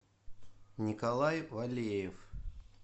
николай валеев